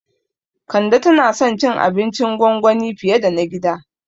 Kande tana son cin abincin gwangwani fiye da na gida